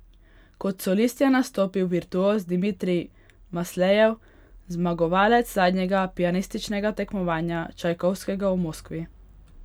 Kot solist je nastopil virtuoz Dimitrij Maslejev, zmagovalec zadnjega pianističnega tekmovanja Čajkovskega v Moskvi.